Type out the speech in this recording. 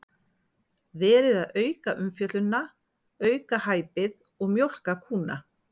Verið að auka umfjöllunina, auka hæpið og mjólka kúna?